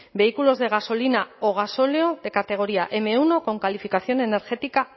vehículos de gasolina o gasóleo de categoría eme uno con calificación energética a